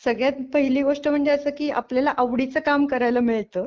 सगळ्यात पहिली गोष्ट म्हणजे असा की आपल्याला आवडीच काम करायला मिळत.